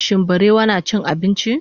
shin barewa nacin abinci?